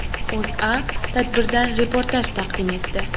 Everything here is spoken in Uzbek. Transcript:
O‘zA tadbirdan reportaj taqdim etdi .